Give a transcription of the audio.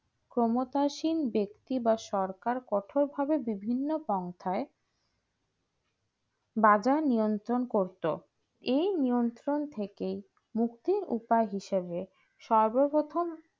ক্ষমতাসিন ব্যক্তি ব্যক্তি বা সরকার কঠিন ভাবে বিভিন্ন ব্যবসায়ী বাজার নিয়ন্ত্রণ করতে এই নিয়ন্ত্রণ থেকে মুক্তি উপায় হিসাবে সর্বপ্রথম